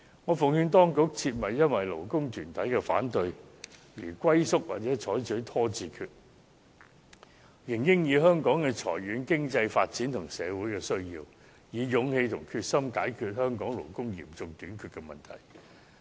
我奉勸當局，切勿因為勞工團體的反對而龜縮或採取拖字訣，應考慮香港的長遠經濟發展和社會需要，以勇氣和決心解決本地勞工嚴重短缺的問題。